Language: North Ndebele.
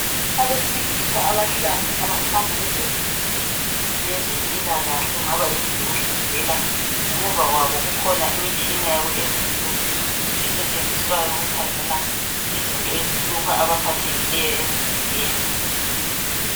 Abesilisa abahlanu abakhanya besendlini yeze mpilakahle okungaba yindlu yokuhlinzela, ngemuva kwabo kukhona imitshina yabo esetshenziswayo ukukhangela izinto ezihlupha abaphathekileyo emzimbeni.